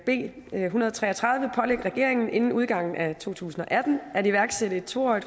en hundrede og tre og tredive pålægger regeringen inden udgangen af to tusind og atten at iværksætte et to årig